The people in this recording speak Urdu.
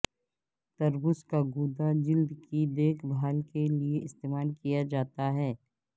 تربوز کا گودا جلد کی دیکھ بھال کے لئے استعمال کیا جاتا ہے